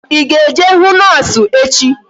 Ị ga-eje hụ noosu echi?